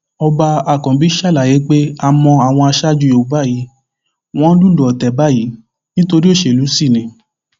ọba ákànbí ṣàlàyé pé a mọ àwọn aṣáájú yorùbá yí wọn ń lùlù ọtẹ báyìí nítorí òṣèlú sì ni